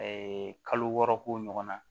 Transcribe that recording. kalo wɔɔrɔ ko ɲɔgɔnna